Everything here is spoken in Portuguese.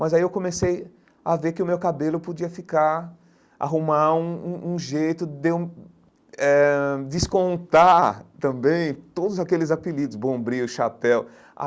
Mas aí eu comecei a ver que o meu cabelo podia ficar, arrumar um um um jeito de eu hum eh descontar também todos aqueles apelidos, bombril, chapéu.